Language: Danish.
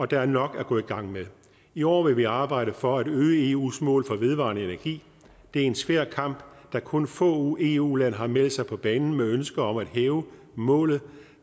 der er nok at gå i gang med i år vil vi arbejde for at øge eus mål for vedvarende energi det er en svær kamp da kun få eu lande har meldt sig på banen med ønsket om at hæve målet